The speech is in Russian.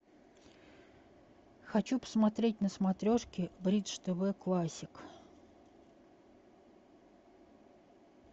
хочу посмотреть на смотрешке бридж тв классик